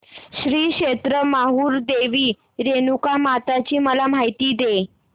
श्री क्षेत्र माहूर देवी रेणुकामाता ची मला माहिती दे